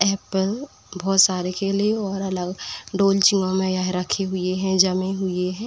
Apple बोहोत सारे केले और अलव डोलचिंगो में यह रखी हुए हैं जमे हुए हैं।